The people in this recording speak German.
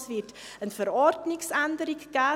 Es wird eine Verordnungsänderung geben: